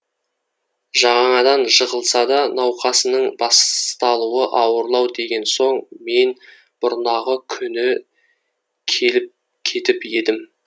жаңадан жығылса да науқасының басталуы ауырлау деген соң мен бұрнағы күні келіп кетіп едім